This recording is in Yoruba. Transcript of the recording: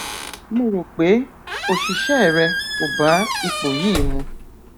mo rò pé òṣìṣẹ rẹ kò bá ipò yìí mu